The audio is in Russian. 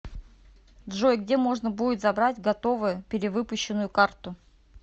джой где можно будет забрать готовую перевыпущенную карту